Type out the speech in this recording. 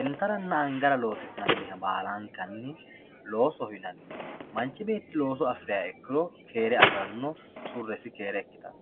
intaranna angara loosi'nannire baalankan loosoho yinanni manchi beetti looso afiriha ikkiro keere afiranno surresi keere ikkitanno.